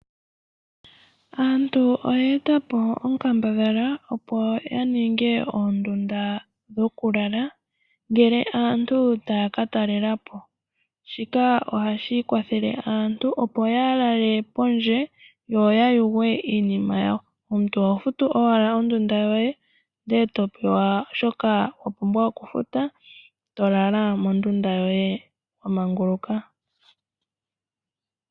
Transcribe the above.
Aantu oya eta po onkambadhala opo yaninge oondunda dhokulala ngele aantu taya katalelapo, shika ohashi kwathele aantu opo yaa lale pondje yo yayugwe iinima yawo. Omuntu oho futu owala ondunda yoye ndele topewa shoka wapumbwa okufuta, tolala mondundu yoye wamanguluka.